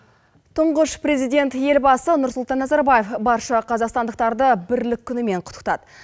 тұңғыш президент елбасы нұрсұлтан назарбаев барша қазақстандықтарды бірлік күнімен құттықтады